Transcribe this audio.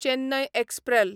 Chennai एक्सप्रॅल